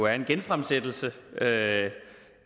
er en genfremsættelse